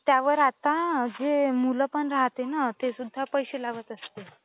त्यावर आता जे मुलं पण राहते ना ते पण पैसे लावत असते